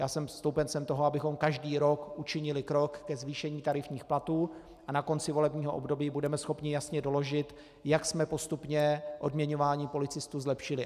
Já jsem stoupencem toho, abychom každý rok učinili krok ke zvýšení tarifních platů, a na konci volebního období budeme schopni jasně doložit, jak jsme postupně odměňování policistů zlepšili.